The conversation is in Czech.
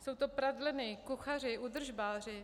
Jsou to pradleny, kuchaři, údržbáři.